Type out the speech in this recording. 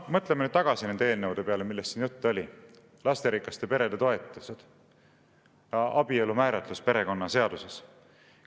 " Mõtleme nüüd tagasi nende eelnõude peale, millest siin juttu oli – lasterikaste perede toetused, abielu määratlus perekonnaseaduses.